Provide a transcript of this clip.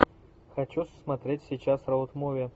хочу смотреть сейчас роуд муви